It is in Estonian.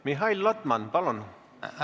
Mihhail Lotman, palun!